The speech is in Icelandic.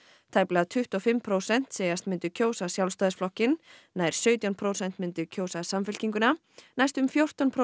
tæplega tuttugu og fimm prósent segjast myndu kjósa Sjálfstæðisflokkinn nær sautján prósent myndu kjósa Samfylkinguna næstum fjórtán prósent